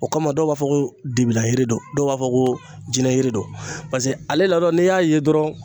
O kama dɔw b'a fɔ ko don, dɔw b'a fɔ ko jinɛ yiri don, paseke ale ladon n'i y'a ye dɔrɔnw